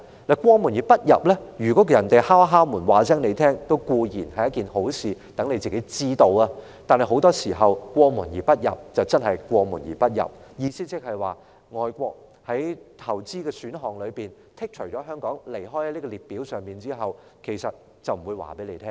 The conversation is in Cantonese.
如果他們在經過時敲門告知我們，這還算是一件好事，至少讓我們知道情況，但是，很多時候，他們真的是過門而不入，意思即是外國的資金在其投資的選項中剔除了香港，而之後，他們是不會告訴我們。